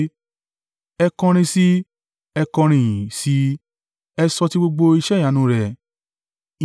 Ẹ kọrin sí i, ẹ kọrin ìyìn, sí i, ẹ sọ ti gbogbo iṣẹ́ ìyanu rẹ̀.